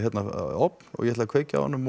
ofn og ég ætla kveikja á honum